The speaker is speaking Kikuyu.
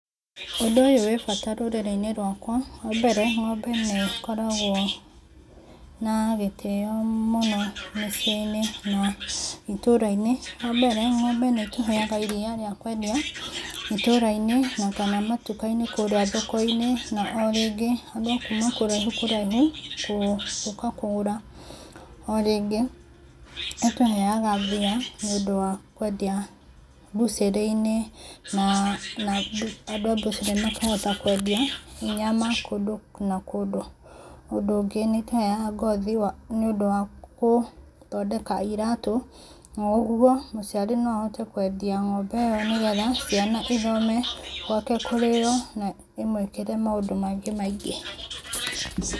Ũndũ ũyũ wĩ bata rũrĩrĩ-inĩ rwakwa, wa mbere, ng'ombe nĩ ĩkoragwo na gĩtĩo mũno mĩciĩ-inĩ na itũũra-inĩ. Wa mbere ngo'ombe nĩ ĩtũheaga iria rĩa kwendia itũũra-inĩ na kana matuka-inĩ kũũrĩa thoko-inĩ, na o rĩngĩ, andũ a kuma kũraihu kũraihu gũka kũgũra. O rĩngĩ, nĩ ĩtũheaga mbia nĩ ũndũ wa kwendia mbũcĩrĩ-inĩ na andũ a mbũcĩrĩ makahota kwendia nyama kũndũ na kũndũ. Ũndũ ũngĩ nĩ ĩtũheaga ngothi nĩ ũndũ wa gũthondeka iratũ, na ũguo mũciari no ahote kwendia ng'ombe ĩyo nĩgetha ciana ithome, gwake kũrĩĩo na imũĩkĩre maũndũ mangĩ maingĩ.